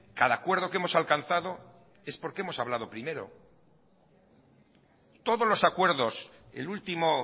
cada acuerdo que hemos alcanzado es porque hemos hablado primero todos los acuerdos el último